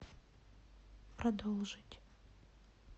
продолжить